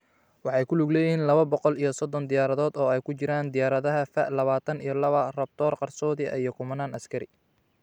Waxay ku lug leeyihiin lawo boqol iyo sodhon diyaaradood oo ay ku jiraan diyaaradaha F-lawatan iyo lawo Raptor qarsoodi ah iyo kumanaan askari.